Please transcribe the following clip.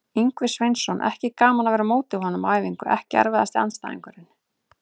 Ingvi Sveinsson, ekki gaman að vera á móti honum á æfingu EKKI erfiðasti andstæðingur?